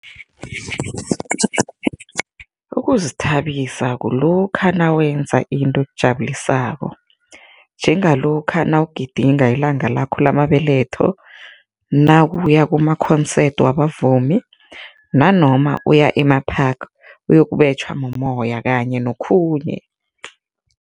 Ukuzithabisa kulokha nawenza into ekujabulisako njengalokha nawugidinga ilanga lakho lamabetho, nawuya ku-concerts wabavumi nanoma uya ema-park, uyokubetjhwa mumoya kanye nokhunye.